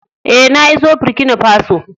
Eh, na iso Burkina Faso.